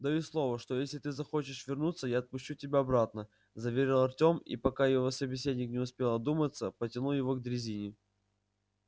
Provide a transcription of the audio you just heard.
даю слово что если ты захочешь вернуться я отпущу тебя обратно заверил артём и пока его собеседник не успел одуматься потянул его к дрезине